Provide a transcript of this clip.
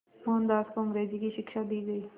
मोहनदास को अंग्रेज़ी की शिक्षा दी गई